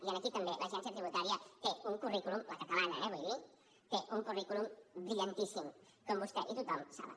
i aquí també l’agència tributària té un currículum la catalana eh vull dir brillantíssim com vostè i tothom saben